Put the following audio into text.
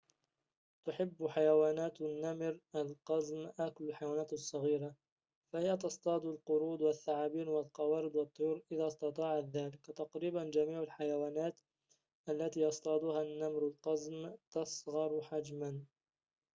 تحبّ حيوانات النّمر القزم أكل الحيوانات الصغيرة فهي تصطاد القرود والثعابين والقوارض والطّيور إذا استطاعت ذلك تقريباً جميع الحيوانات التي يصطادها النّمر القزم تصغره حجماً